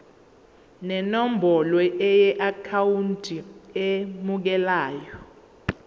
nenombolo yeakhawunti emukelayo